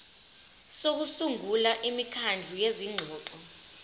sokusungula imikhandlu yezingxoxo